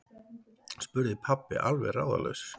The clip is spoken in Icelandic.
spurði pabbi alveg ráðalaus.